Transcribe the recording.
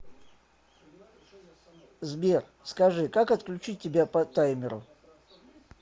сбер скажи как отключить тебя по таймеру